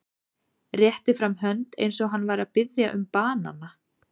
Rétti fram hönd eins og hann væri að biðja um banana.